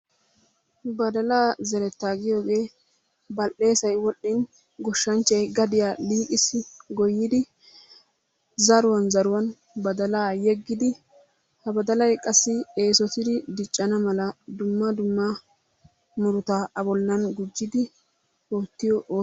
Badalaa zeretta giyoogee bal'eessay wol'iin goshshanchchay gadiya liiqqissi goyidi zaruwan zaruwan baddalaa yeggidi ha baddalay qassi eesotidi diccana mala dumma dumma murutaa a bollan gujjidi ootiyo o...